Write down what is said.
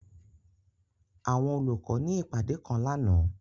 Àwọn olukọ ni ipade kan làná.